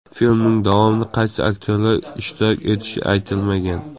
Filmning davomida qaysi aktyorlar ishtirok etishi aytilmagan.